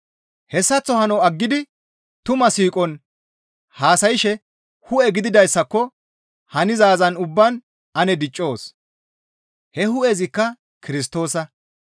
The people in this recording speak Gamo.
Hessaththo hano aggidi tumaa siiqon haasayshe hu7e gididayssaako hanizaazan ubbaan ane diccoos; he hu7ezikka Kirstoosa.